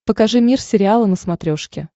покажи мир сериала на смотрешке